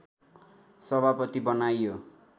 सभापति बनाइयो